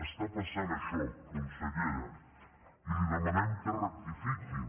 està passant això consellera i li demanem que rectifiquin